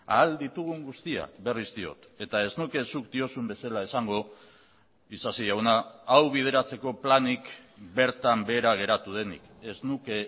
ahal ditugun guztiak berriz diot eta ez nuke zuk diozun bezala esango isasi jauna hau bideratzeko planik bertan behera geratu denik ez nuke